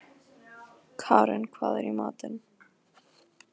Karin, hvað er í matinn?